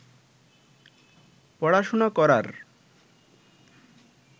পড়াশোনা করার